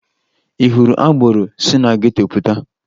Ị hụrụ agboro si na geto pụta?